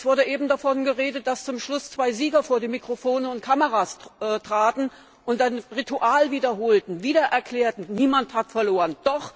Es wurde eben davon geredet, dass zum Schluss zwei Sieger vor die Mikrofone und Kameras traten und ein Ritual wiederholten, wieder erklärten Niemand hat verloren.